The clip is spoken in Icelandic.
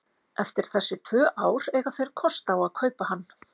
Eftir þessi tvö ár eiga þeir kost á að kaupa hann.